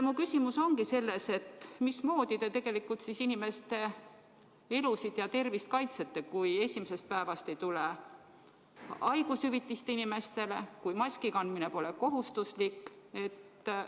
Mu küsimus ongi: mismoodi te tegelikult inimeste elusid ja tervist kaitsete, kui esimesest päevast ei maksta inimestele haigushüvitist ja kui maski kandmine pole kohustuslik?